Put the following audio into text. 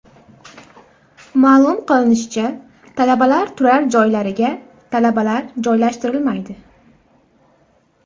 Ma’lum qilinishicha, talabalar turar joylariga talabalar joylashtirilmaydi.